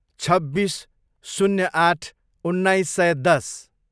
छब्बिस, शून्य आठ, उन्नाइस सय दस